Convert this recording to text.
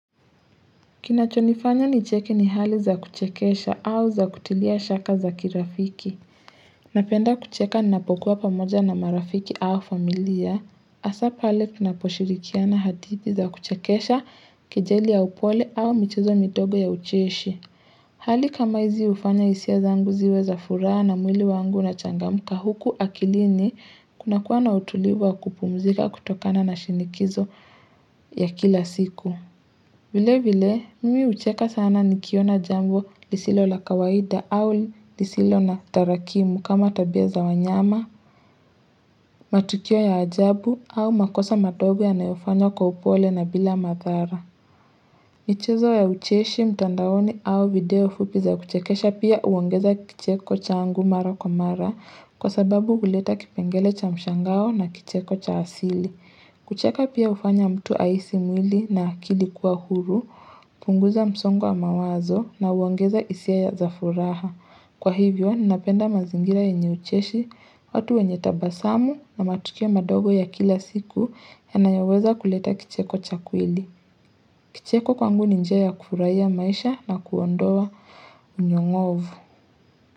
Kinachonifanya nicheke ni hali za kuchekesha au za kutilia shaka za kirafiki. Napenda kucheka ninapokuwa pamoja na marafiki au familia. Hasa pale tunaposhirikiana hadithi za kuchekesha kejeli ya upole au michezo midogo ya ucheshi. Hali kama hizi hufanya hisia zangu ziwe za furaha na mwili wangu unachangamka huku akilini kunakuwa na utulivu wa kupumzika kutokana na shinikizo ya kila siku. Vile vile, mimi hucheka sana nikiona jambo lisilo la kawaida au lisilo na tarakimu kama tabia za wanyama, matukio ya ajabu au makosa madogo yanayofanywa kwa upole na bila madhara. Michezo ya ucheshi mtandaoni au video fupi za kuchekesha pia huongeza kicheko changu mara kwa mara kwa sababu huleta kipengele cha mshangao na kicheko cha asili. Kucheka pia hufanya mtu ahisi mwili na akili kuwa huru, hupunguza msongo wa mawazo na huongeza hisia za furaha. Kwa hivyo, ninapenda mazingira yenye ucheshi, watu wenye tabasamu na matukio madogo ya kila siku yanayoweza kuleta kicheko cha kweli. Kicheko kwangu ni njia ya kufurahia maisha na kuondoa unyong'ovu.